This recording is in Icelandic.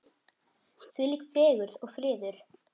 Þvílík fegurð og friður.